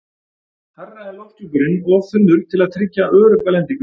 Hærra er lofthjúpurinn of þunnur til að tryggja örugga lendingu.